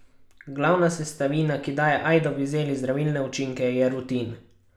Glavna sestavina, ki daje ajdovi zeli zdravilne učinke, je rutin.